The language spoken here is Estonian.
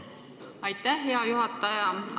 Aitäh, hea juhataja!